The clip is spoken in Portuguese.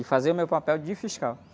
E fazer o meu papel de fiscal.